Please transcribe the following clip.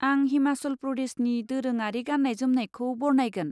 आं हिमाचल प्रदेशनि दोरोङारि गाननाय जोमनायखौ बरनायगोन।